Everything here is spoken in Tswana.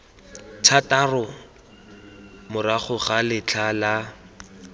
thataro morago ga letlha la